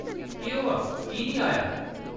केह्‌‌ होआ, की नेईं आया ?